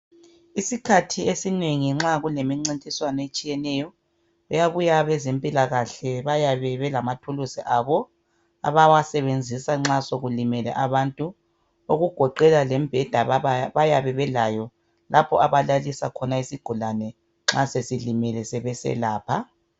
Isikhathi esinengi nxa kulemincintiswano etshiyeneyo kuyabuya abezempilakahle bayebe belamathuluzi abo abawasebenzisa nxa sokulimele abantu okugoqela lembheda baba bayabe belayo lapho abalalisa khona isigulane nxa sesilimele sebeselapha.